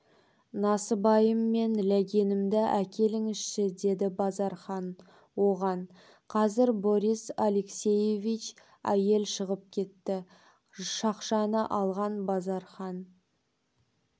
насыбайым мен ләгенімді әкеліңізші деді базархан оған қазір борис алексеевич әйел шығып кетті шақшаны алған базархан